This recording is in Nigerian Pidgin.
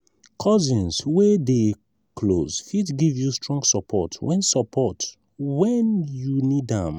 cousins wey dey close fit give you strong support when support when you need am.